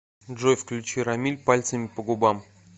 джой включи рамиль пальцами по губам